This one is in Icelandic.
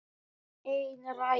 Ekki ein rækja.